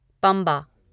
Pamba